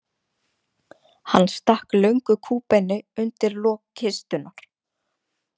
Hann stakk löngu kúbeini undir lok kistunnar.